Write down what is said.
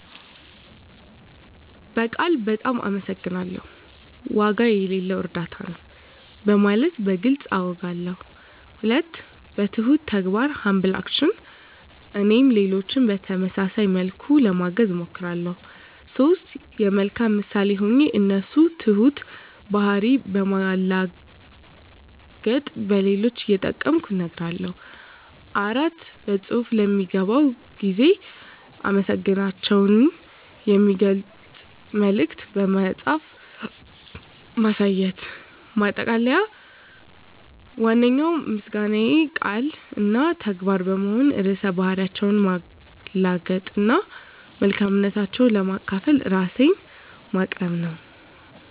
በቃል "በጣም አመሰግናለሁ"፣ "ዋጋ የሌለው እርዳታ ነው" በማለት በግልፅ አውጋለሁ። 2. በትሁት ተግባር (Humble Action) - እኔም ሌሎችን በተመሳሳይ መልኩ ለማገዝ እሞክራለሁ። 3. የመልካም ምሳሌ ሆኜ የእነሱን ትሁት ባህሪ በማላገጥ ለሌሎች እየጠቀምኩ እነግራለሁ። 4. በፅሁፍ ለሚገባው ጊዜ አመሰግናታቸውን የሚገልጽ መልዕክት በመጻፍ ማሳየት። ማጠቃለያ ዋነኛው ምስጋናዬ ቃል እና ተግባር በመሆን ርዕሰ ባህሪያቸውን ማላገጥ እና መልካምነታቸውን ለማካፈል ራሴን ማቅረብ ነው።